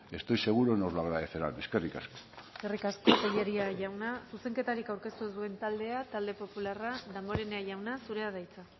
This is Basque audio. estoy seguro nos lo agradecerán eskerrik asko eskerrik asko tellería jauna zuzenketarik aurkeztu ez duen taldea talde popularra damborenea jauna zurea da hitza